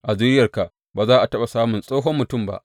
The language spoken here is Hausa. A zuriyarka ba za a taɓa samun tsohon mutum ba.